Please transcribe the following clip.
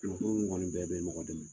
ko mɔgɔ nin bɛɛ bɛ mɔgɔ dɛmɛ